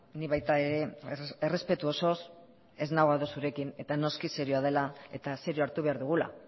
ni baita ere errespetu osoz ez nago ados zurekin eta noski serioa dela eta serio hartu behar dugula